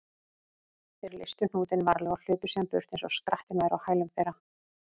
Þeir leystu hnútinn varlega og hlupu síðan burt eins og skrattinn væri á hælum þeirra.